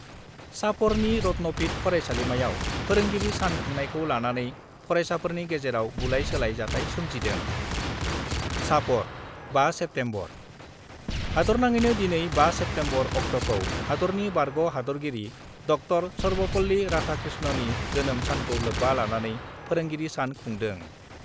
चापरनि रत्नपीठ फरायसालिमायाव फोरोंगिरि सान खुंनायखौ लानानै फरायसाफोरनि गेजेराव बुलाय-सोलाय जाथाय सोमजिदों चापर, 5 सेप्तेम्बर : हादरनाङैनो दिनै 5 सेप्तेम्बर अक्ट'खौ हादरनि बारग' हादरगिरि ड० सर्वपल्ली राधाकृष्णननि जोनोम सानखौ लोब्बा लानानै फोरोंगिरि सान खुंदों।